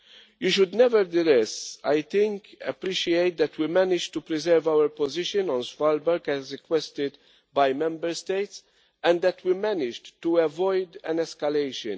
You should nevertheless appreciate that we managed to preserve our position on Svalbard, as requested by Member States, and that we managed to avoid an escalation.